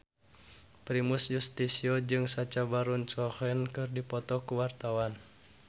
Primus Yustisio jeung Sacha Baron Cohen keur dipoto ku wartawan